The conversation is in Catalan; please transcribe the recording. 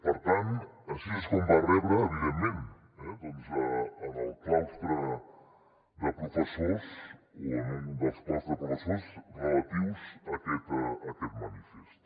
per tant així és com va rebre evidentment doncs al claustre de professors o a un dels claustres de professors relatius a aquest manifest